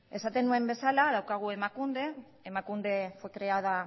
esaten nuen bezala badaukagu emakunde emakunde